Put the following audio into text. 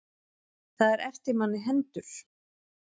Það er eftir manna hendur.